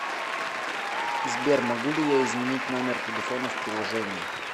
сбер могу ли я изменить номер телефона в приложении